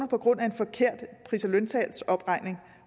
på grund af en forkert pris og løntalsomregning